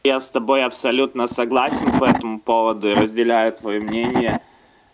я с тобой абсолютно согласен поэтому поводу и разделяю твоё мнение